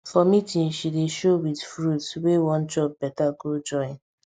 for meeting she dey show with fruit wey wan chop better go join